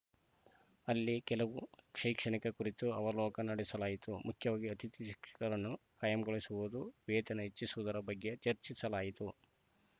ಅಲ್ಲಿ ಕೆಲವು ಶೈಕ್ಷಣಿಕ ಕುರಿತು ಅವಲೋಕನ ನಡೆಸಲಾಯಿತು ಮುಖ್ಯವಾಗಿ ಅತಿಥಿ ಶಿಕ್ಷಕರನ್ನು ಖಾಯಂಗೊಳಿಸುವುದು ವೇತನ ಹೆಚ್ಚಿಸುವುದರ ಬಗ್ಗೆ ಚರ್ಚಿಸಲಾಯಿತು